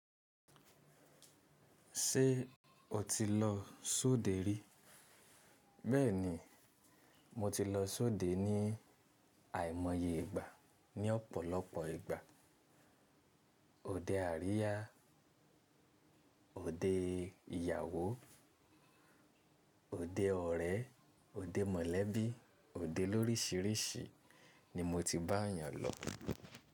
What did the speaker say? Ṣé o ti lọ sóde rí? Bẹ́ẹ̀ni, mo ti lọ sóde ní àìmọye ìgbà ní ọ̀pọ̀lọpọ̀ ìgbà. Ode àríyá, òde ìyàwó, òde ọ̀rẹ́, òde mọ̀lẹ́bí, òde lórísìírísì ni mo ti bá eeyàn lọ.